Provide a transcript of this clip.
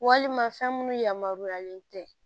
Walima fɛn minnu yamaruyalen tɛ